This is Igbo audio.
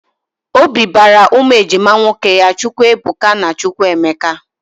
Obi bara ụmụ ejima nwoke ya Chukwuebuka na Chukwuemeka